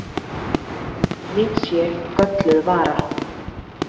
Ég sé gölluð vara.